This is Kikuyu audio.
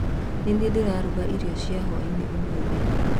Nĩ niĩ ndĩraruga irio cia hwainĩ umũthĩ.